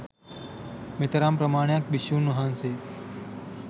මෙතරම් ප්‍රමාණයක් භික්ෂුන් වහන්සේ